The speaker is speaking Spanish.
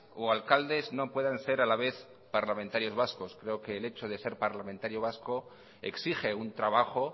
o alcaldes no puedan ser a la vez parlamentarios vasco creo que el hecho de ser parlamentario vasco exige un trabajo